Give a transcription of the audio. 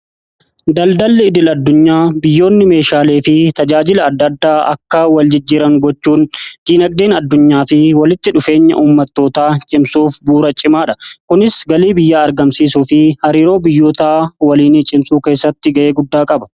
daldalli idil-addunyaa biyyoonni meeshaalee fi tajaajila adda addaa akka wal jijjiran gochuun dinagdeen addunyaa fi walitti dhufeenya ummattootaa cimsuuf buura cimaa dha kunis galii biyyaa argamsiisuu fi hariiroo biyyoota waliinii cimsuu keessatti ga'ee guddaa qaba.